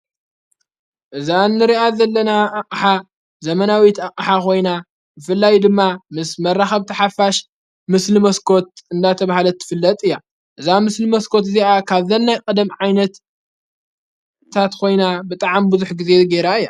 እዛ እንርኣት ዘለና እሓ ዘመናዊት ኣቅሓ ኾይና ብፍላይ ድማ ምስ መራኸብ ተሓፋሽ ምስል መስኮት እንናተ ብሃለት ትፍለጥ እያ እዛ ምስል መስኮት እዚኣ ካብ ዘናይ ቀደም ዓይነት ታ ኾይና ብጥዓሚ ብዙኅ ጊዜ ገይራ እያ።